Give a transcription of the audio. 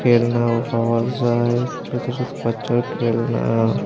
খেলনাও পাওয়া যায় ছোট ছোট বাচ্চার খেলনা।